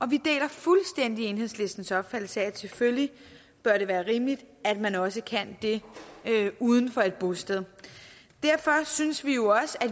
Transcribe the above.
vi deler fuldstændig enhedslistens opfattelse af at det selvfølgelig bør være rimeligt at man også kan det uden for et bosted og derfor synes vi jo også at